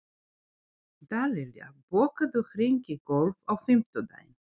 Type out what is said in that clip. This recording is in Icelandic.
Dallilja, bókaðu hring í golf á fimmtudaginn.